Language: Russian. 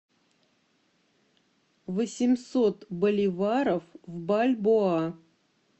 восемьсот боливаров в бальбоа